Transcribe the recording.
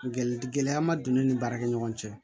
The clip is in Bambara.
Gɛlɛya ma don ne ni baarakɛ ɲɔgɔn cɛ